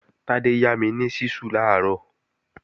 Tádé yá mi ni ṣísù làárọ̀